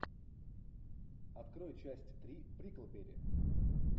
открой часть три бриклберри